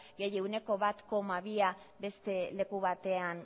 gehi ehuneko bat koma bia beste leku batean